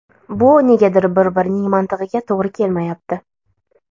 Bu negadir bir-birining mantig‘iga to‘g‘ri kelmayapti.